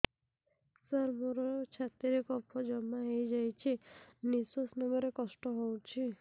ସାର ମୋର ଛାତି ରେ କଫ ଜମା ହେଇଯାଇଛି ନିଶ୍ୱାସ ନେବାରେ କଷ୍ଟ ହଉଛି